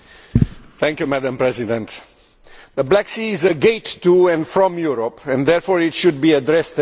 Madam President, the Black Sea is a gate to and from Europe, and therefore it should be addressed as such.